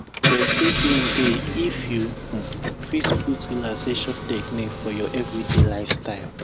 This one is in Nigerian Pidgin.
plenty gain dey if you um fit put relaxation technique for your everyday lifestyle.